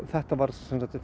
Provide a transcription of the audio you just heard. þetta var